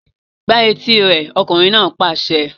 Gbá etí rẹ̀! Ọkùnrin náà pàṣẹ.